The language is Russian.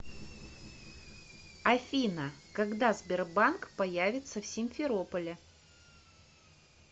афина когда сбербанк появится в симферополе